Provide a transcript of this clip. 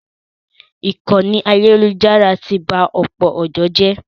Ìkànnì ayélujára ti ba ọ̀pọ̀ ọ̀dọ́ jẹ́.